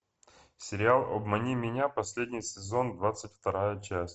сериал обмани меня последний сезон двадцать вторая часть